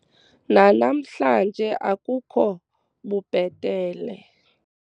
nanamhlanje akukho bubhetele